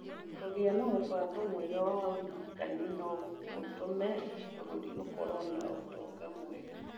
Kũgĩa na mũbango mwega wa ũrigitani no gũtũme bũrũri ũkorũo na ũtonga mwega.